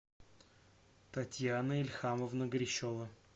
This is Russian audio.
татьяна ильхамовна грищева